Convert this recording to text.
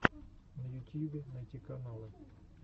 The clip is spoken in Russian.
на ютьюбе найти каналы